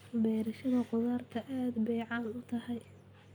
Beerashada khudaarta aad bay caan u tahay.